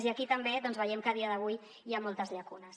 i aquí també veiem que a dia d’avui hi ha moltes llacunes